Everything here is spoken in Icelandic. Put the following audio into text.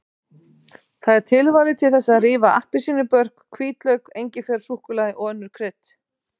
Það er tilvalið til þess að rífa appelsínubörk, hvítlauk, engifer, súkkulaði og önnur krydd.